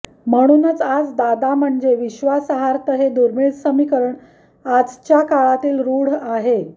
म्हणूनच आज दादा म्हणजे विश्वासार्हता हे दूर्मिळ समीकरण आजच्या काळातही रूढ आहे